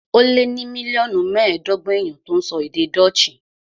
Ó lé ní mílíọ̀nù mẹ́ẹ̀ẹ́dọ́gbọ̀n èèyàn tó ń sọ èdè Dutch